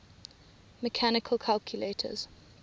mechanical calculators